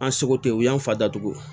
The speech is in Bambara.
An seko tɛ u y'an fa datugu